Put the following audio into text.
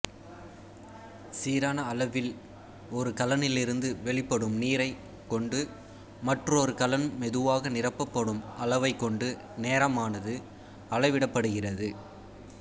சீரான அளவில் ஒரு கலனிலிருந்து வெளிப்படும் நீரைக் கொண்டு மற்றொரு கலன் மெதுவாக நிரப்பப்படும் அளவைக் கொண்டு நேரமானது அளவிடப்படுகிறது